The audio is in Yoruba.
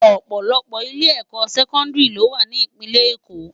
Òpòlòpò ilé èkò sèkòndiri ló wá ni ipinlè Ékó